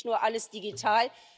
Es geht nicht nur alles digital.